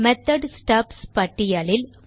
method stubs பட்டியலில்